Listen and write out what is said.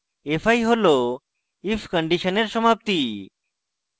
fi হল if কন্ডিশনের সমাপ্তি